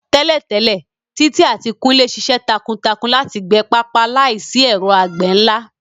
Tẹ́lẹ̀tẹ́lẹ̀, Titi àti Kunle ṣiṣẹ́ takuntakun láti gbẹ pápá láìsí ẹ̀rọ àgbẹ̀ ńlá.